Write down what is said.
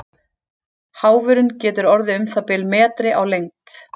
Háfurinn getur orðið um það bil metri á lengd.